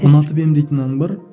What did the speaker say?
ұнатып едім дейтін ән бар